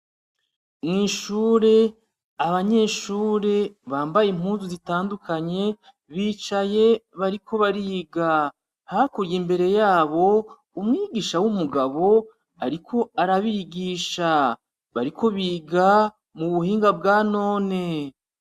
Mwishure, abanyeshure bambaye Impuzu zitandukanye, bicaye bariko bariga. hakurya imbere yabo, Umwigisha w'umugabo ariko arabigisha. Bariko biga mu buhinga bwanone.